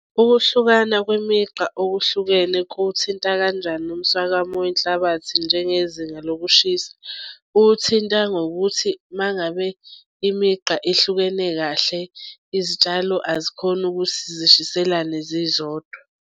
Ukuhlukana kwemigqa okuhlukene kuwuthinta kanjani umswakamo wenhlabathi njengezinga lokushisa? Uthinta ngokuthi uma ngabe imigqa ehlukene kahle izitshalo azikhoni ukuthi zishiselane zizodwa.